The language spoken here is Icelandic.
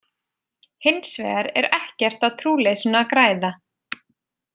Hins vegar er ekkert á trúleysinu að græða.